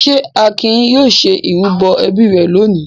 Ṣé Akin yóò ṣe ìrúbọ ẹbí rẹ̀ lónìí?